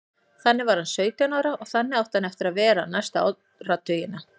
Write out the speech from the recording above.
Þannig var hann sautján ára og þannig átti hann eftir að vera næstu áratugina.